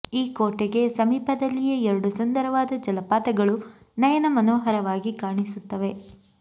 ಈ ಕೋಟೆಗೆ ಸಮೀಪದಲ್ಲಿಯೇ ಎರಡು ಸುಂದರವಾದ ಜಲಪಾತಗಳು ನಯನ ಮನೋಹರವಾಗಿ ಕಾಣಿಸುತ್ತವೆ